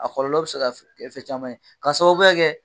A kɔlɔlɔ bɛ se ka f ɛ fɛn caman ye k'a sababuya kɛ